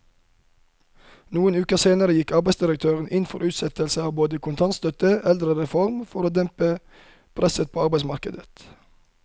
Noen uker senere gikk arbeidsdirektøren inn for utsettelse av både kontantstøtten og eldrereformen for å dempe presset på arbeidsmarkedet.